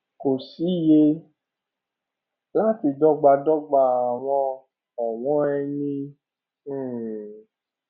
kò sí yẹ láti dọgbadọgba àwọn ọwọn eni um